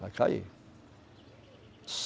Vai cair.